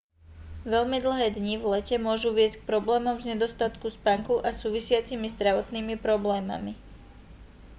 veľmi dlhé dni v lete môžu viesť k problémom z nedostatku spánku a súvisiacimi zdravotnými problémami